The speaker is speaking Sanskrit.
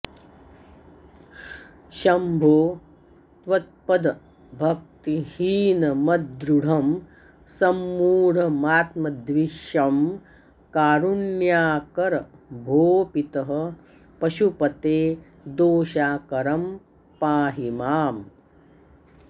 शम्भो त्वत्पदभक्तिहीनमदृढं सम्मूढमात्मद्विषं कारुण्याकर भो पितः पशुपते दोषाकरं पाहि माम्